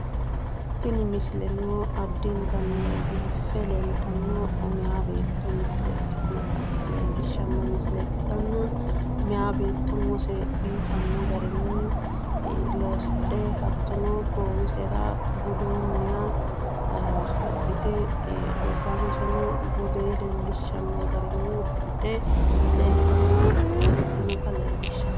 Tini misileno addintanni biiffe leeltanno meeya beetto misile ikkitinota meya beetto umose biifanno garinni loosidhe hattono goowisera budunniha wodhite uddanoseno budee leellishanno garinni udidhe leeltanno beetto ikkitinota leellishshanno misileeti.